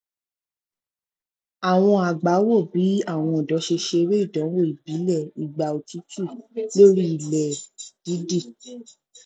àwọn àgbà wò bì àwọn ọdọ ṣe ṣeré ìdánwò ìbílẹ ìgbà otútù lórí ilẹ dídì